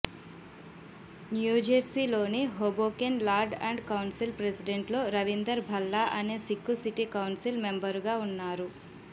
న్యూజెర్సీలోని Hoboken lord and council ప్రెసిడెంట్లో రవీందర్ భల్లా అనే సిక్కు సిటీ కౌన్సిల్ మెంబరుగా ఉన్నారు